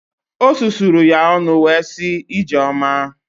O susuru ya ọnụ wee sị “Ijeoma”.